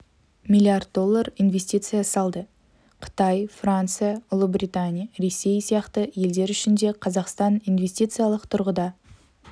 млрд доллар инвестиция салды қытай франция ұлыбритания ресей сияқты елдер үшін де қазақстан инвестициялық тұрғыда